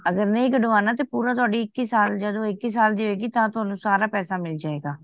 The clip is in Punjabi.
ਅਗਰ ਨਹੀਂ ਕੜਵਾਣਾ ਤੇ ਪੂਰਾ ਤੁਹਾਡੀ ਇੱਕੀ ਸਾਲ ਜਦੋ ਇੱਕੀ ਸਾਲ ਦੀ ਹੋਏ ਗੀ ਤਾਂ ਤਵਣੁ ਸਾਰਾ ਪੈਸਾ ਮਿਲ ਜੇ ਗਾ